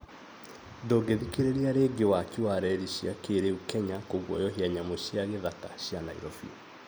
ndũngĩthikĩrĩria rĩngĩ waki wa reri cia kĩrĩu kenya kũguoyohia nyamũ cia gĩthaka cia Nairobi